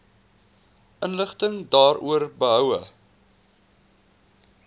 inligting daaroor behoue